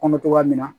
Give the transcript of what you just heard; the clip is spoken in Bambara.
Kɔnɔ togoya min na